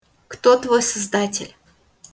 кто твой создатель